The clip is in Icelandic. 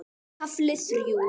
KAFLI ÞRJÚ